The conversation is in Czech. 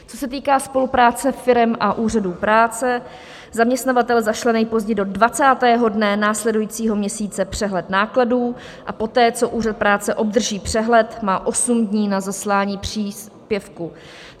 Co se týká spolupráce firem a úřadů práce, zaměstnavatel zašle nejpozději do 20. dne následujícího měsíce přehled nákladů a poté, co úřad práce obdrží přehled, má osm dní na zaslání příspěvku.